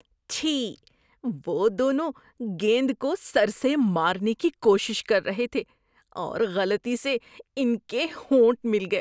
چھی! وہ دونوں گیند کو سر سے مارنے کی کوشش کر رہے تھے اور غلطی سے ان کے ہونٹ مل گئے۔